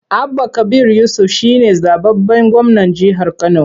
Abba Kabir Yusuf shi ne zaɓaɓɓen gwamnan jihar Kano.